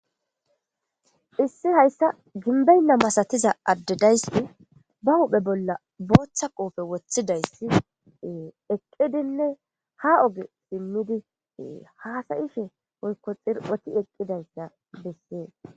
issi hayssa ginbeynna masatiza addedayssi ba huhphe bolla booththa qoofe woththidayssi eqqidinne ha oge simmidii haasayishe woykko xirphoti eqqidayssa bessee